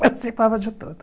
Participava de todos.